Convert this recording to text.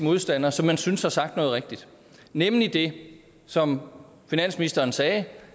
modstander som man synes har sagt noget rigtigt nemlig det som finansministeren sagde